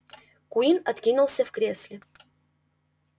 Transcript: куинн откинулся в кресле